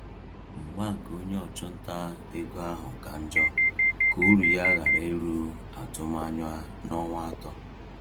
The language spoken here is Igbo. Mgba nke onye ọchụnta ego ahụ ka njọ ka uru ya ghara iru atụmanya n’ọnwa atọ.